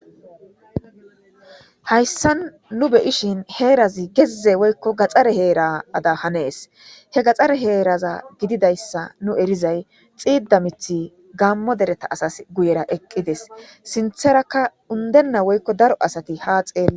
hayssa nu beyishin heerazi gezze woykko gaxxare heerada hanees he gaxxare heeraza gididayssa nu erizay xiida mithi gammo dereta asas guyera eqqides sintheraka undenna woykko daro asati haa xeele